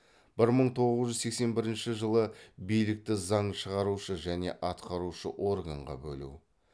бір мың тоғыз жүз сексен бірінші билікті заң шығарушы және атқарушы органға бөлу